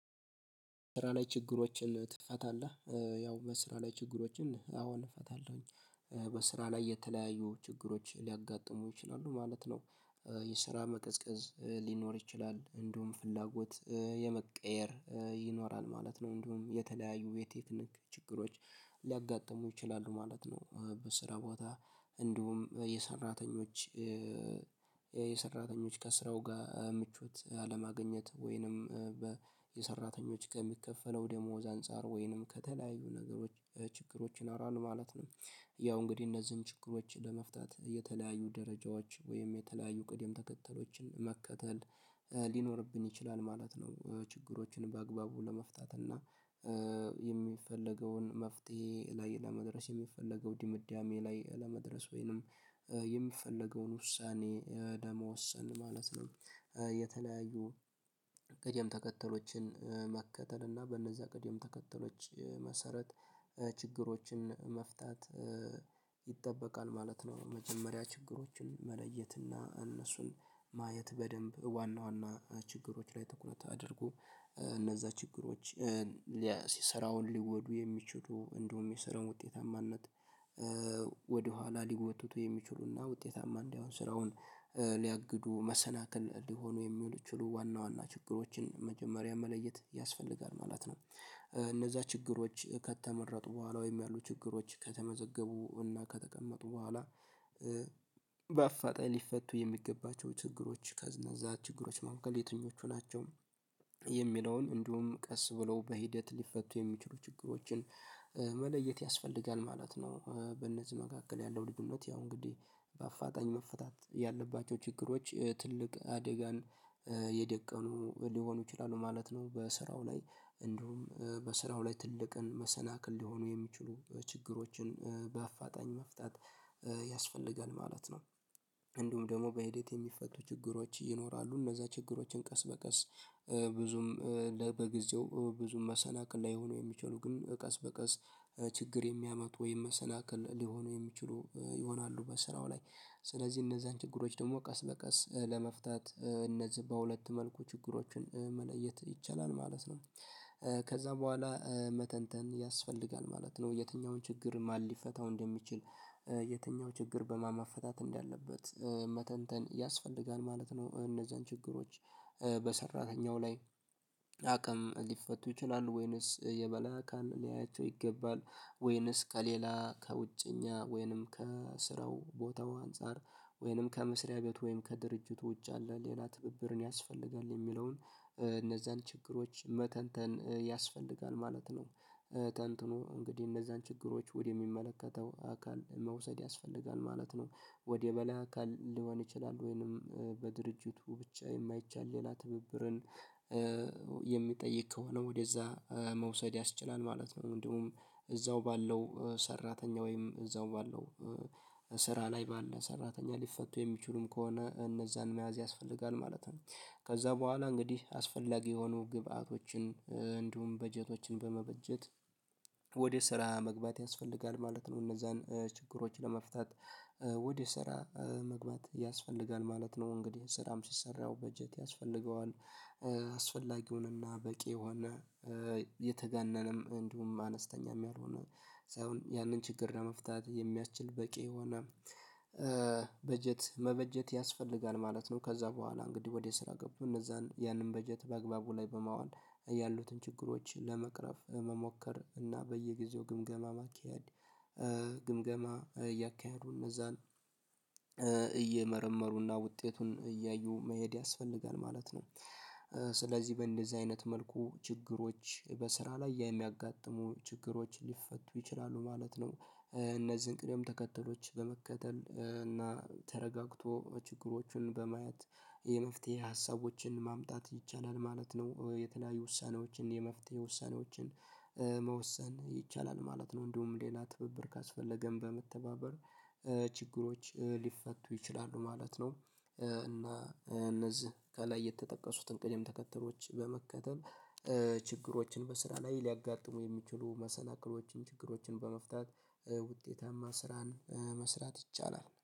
ስራ ላይ ችግሮችን ትፈታለህ ያው በስራ ላይ ችግሮችን አዎን እፈታለሁኝ በስራ ላይ የተለያዩ ችግሮች ሊያጋጥሙ ይችላሉ ማለት ነው የስራ መቅዝቀዝ ሊኖር ይችላል እንደውም ፍላጎት የመቀየር ይኖራል ማለት ነው እንደውም የተለያዩ የቴክኒክ ችግሮች ሊያጋጥሙ ይችላሉ ማለት ነው በስራ ቦታ እንዲሁም የሰራተኞች ከስራው ጋር ምቾት ያለማግኘት ወይንም የሰራተኞች ከሚከፈለው ደሞዝ አንፃር ወይንም ከተለያዩ ነገሮች ችግሮች ይኖራሉ ማለት ነው። ያው እንግዲህ እነዚህን ችግሮች ለመፍታት የተለያዩ ደረጃዎች ወይም የተለያዩ ቅድም ተከተሎችን መከተል ሊኖርብን ይችላል ማለት ነው ችግሮችን በአግባቡ ለመፍታት እና የሚፈለገውን መፍትሄ ላይ ለመድረስ የሚፈለገው ድምዳሜ ላይ ለመድረስ ወይንም የሚፈለገውን ውሳኔ መወሰን ማለት ነው የተለያዩ ቅደም ተከተሎችን መከተል እና በእነዚያ ቅደም ተከተሎች መሰረት ችግሮችን መፍታት ይጠበቃል ማለት ነው መጀመሪያ ችግሮችን መለየት እና እነሱን ማየት በደንብ ዋና ዋና ችግሮች ላይ ትኩረት አድርጉ እነዛ ችግሮች ስራውን ሊወዱ የሚችሉ እንደውም የስራውን ውጤታማነት ወደኋላ ሊጎትቱ የሚችሉና ውጤታማ እንደውም ስራውን ሊያግዱ መሰናክል ሊሆኑ የሚችሉ ዋና ዋና ችግሮችን መጀመሪያ መለየት ያስፈልጋል ማለት ነው እነዛ ችግሮች ከተመረጡ በኋላ ወይም ያሉ ችግሮች ከተመዘገቡ እና ከተቀመጡ በኋላ በአፋጣኝ ሊፈቱ የሚገባቸው ችግሮች ከነዛ ችግሮች መካከል የትኞቹ ናቸው የሚለውን እንዲሁም ቀስ ብለው በሂደት ሊፈቱ የሚችሉ ችግሮችን መለየት ያስፈልጋል ማለት ነው። በእነዚህ መካከል ያለው ልዩነት ያው እንግዲህ በአፋጣኝ መፈታት ያለባቸው ችግሮች ትልቅ አደጋን የደቀኑ ሊሆኑ ይችላሉ ማለት ነው። በስራው ላይ እንዲሁም በስራው ላይ ትልቅን መሰናክል ሊሆኑ የሚችሉ ችግሮችን በአፋጣኝ መፍታት ያስፈልጋል ማለት ነው እንዲሁም ደግሞ በሂደት የሚፈቱ ችግሮች ይኖራሉ እነዛ ችግሮችን ቀስ በቀስ ብዙም በጊዜው ብዙም መሰናክል ላይሆኑ የሚችሉ ግን ቀስ በቀስ ችግር የሚያመጡ ወይም መሰናክል ሊሆኑ የሚችሉ ይሆናሉ በስራው ላይ ስለዚህ እነዛን ችግሮች ደግሞ ቀስ በቀስ ለመፍታት እነዚህ በሁለት መልኩ ችግሮችን መለየት ይቻላል ማለት ነው ከዛ በኋላ መተንተን ያስፈልጋል ማለት ነው። የትኛውን ችግር ማን ሊፈታው እንደሚችል የትኛው ችግር በማን መፈታት እንዳለበት መተንተን ያስፈልጋል ማለት ነው። እነዛን ችግሮች በሰራተኛው ላይ አቅም ሊፈቱ ይችላሉ ወይንስ የበላይ አካል ሊያያቸው ይገባል ወይንስ ከሌላ ከውጭኛ ወይንም ከስራው ቦታው አንፃር ወይንም ከመስሪያ ቤቱ ወይንም ከድርጅቱ ውጭ ያለ ሌላ ትብብር ያስፈልጋል የሚለውን እነዛን ችግሮች መተንተን ያስፈልጋል ማለት ነው። ተንትኖ እንግዲህ እነዛን ችግሮች ወደሚመለከተው አካል መውሰድ ያስፈልጋል ማለት ነው። ወደ በላይ አካል ሊሆን ይችላል ወይንም በድርጅቱ ብቻ የማይቻል ሌላ ትብብርን የሚጠይቅ ከሆነ ወደዛ መውሰድ ያስችላል ማለት ነው። እንዲሁም እዛው ባለው ሰራተኛ ወይም እዛው ባለው ስራ ላይ ባለው ሰራተኛ ሊፈቱ የሚችሉም ከሆነ እነዛን መያዝ ያስፈልጋል ማለት ነው። ከዛ በኋላ እንግዲህ አስፈላጊ የሆኑ ግብዓቶችን እንዲሁም በጀቶችን በመበጀት ወደ ስራ መግባት ያስፈልጋል ማለት ነው። እነዛን ችግሮች ለመፍታት ወደ ስራ መግባት ያስፈልጋል ማለት ነው። እንግዲህ ስራም ሲሰራ በጀት ያስፈልገዋል። አስፈላጊውንና በቂ የሆነ የተጋነነም እንዲሁም አነስተኛም ያልሆነ ሰው ያንን ችግር ለመፍታት የሚያስችል በቂ የሆነ በጀት መበጀት ያስፈልጋል ማለት ነው። ከዛ በኋላ እንግዲህ ወደ ስራ ገብቶ እነዛን ያንን በጀት በአግባቡ ላይ በማዋል ያሉትን ችግሮችን ለመቅረፍ መሞከር እና በየጊዜው ግምገማ ማካሄድ ግምገማ እያካሄዱ እነዛን እየመረመሩና ውጤቱን እያዩ መሄድ ያስፈልጋል ማለት ነው። ስለዚህ በእንደዚህ አይነት መልኩ ችግሮች በስራ ላይ የሚያጋጥሙ ችግሮች ሊፈቱ ይችላሉ ማለት ነው። እነዚህን ቅደም ተከተሎች በመከተል እና ተረጋግቶ ችግሮቹን በማየት የመፍትሄ ሀሳቦችን ማምጣት ይቻላል ማለት ነው። የተለያዩ ውሳኔዎችን የመፍትሄ ውሳኔዎችን መወሰን ይቻላል ማለት ነው። እንዲሁም ሌላ ትብብር ካስፈለገም በመተባበር ችግሮች ሊፈቱ ይችላሉ ማለት ነው። እና እነዚህ ከላይ የተጠቀሱትን ቅደም ተከተሎች በመከተል ችግሮችን በስራ ላይ ሊያጋጥሙ የሚችሉ መሰናክሎችን ችግሮችን በመፍታት ውጤታማ ስራን መስራት ይቻላል።